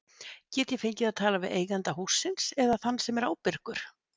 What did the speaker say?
Get ég fengið að tala við eiganda hússins eða þann sem er ábyrgur?